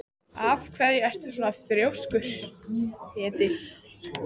Af hverju ertu svona þrjóskur, Edil?